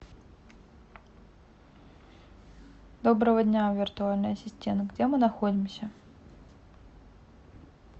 доброго дня виртуальный ассистент где мы находимся